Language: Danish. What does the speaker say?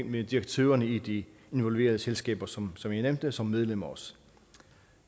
med direktørerne i de involverede selskaber som som jeg nævnte som medlemmer også